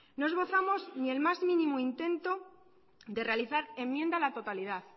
noesbozamos ni el más mínimo intento de realizar enmienda a la totalidad